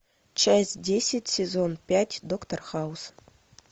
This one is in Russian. часть десять сезон пять доктор хаус